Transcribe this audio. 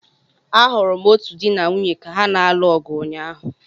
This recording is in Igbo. Ahụrụ m otu di na nwunye ka ha na-alụ ọgụ ụnyaahụ.